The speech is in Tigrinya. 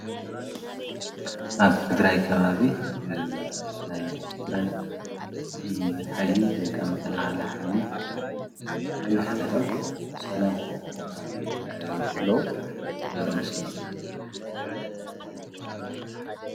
ኣብ ትግራይ ከባቢ ናይ ትግራይ ፍሉይ ሓይሊ ወይካዓ መከላከኸሊ ሓይሊ ነንሕድዶም ሰላምታ ክቀያየሩ ኸለው ዘርኢ ምስሊ እዩ።